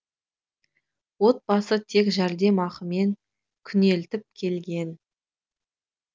отбасы тек жәрдемақымен күнелтіп келген